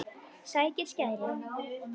Sækir skæri.